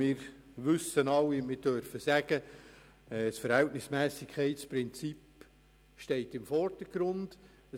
Wir wissen alle, dass das Verhältnismässigkeitsprinzip im Vordergrund steht.